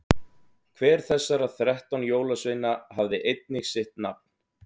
hver þessara þrettán jólasveina hafði einnig sitt nafn